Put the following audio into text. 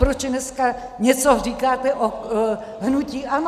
Proč dneska něco říkáte o hnutí ANO?